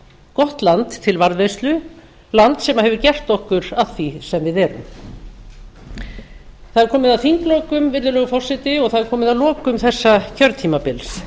gott land til varðveislu land sem hefur gert okkur að því sem við erum það er komið að þinglokum virðulegur forseti og það er komið að lokum þessa kjörtímabils